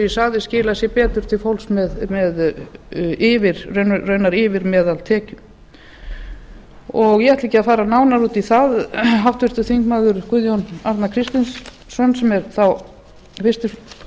ég sagði skilar sér betur til fólks með raunar yfir meðaltekjum ég ætla ekki að ár nánar út í það háttvirtir þingmenn guðjón arnar kristjánsson sem er þá fyrsti